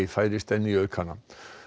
færist enn í aukana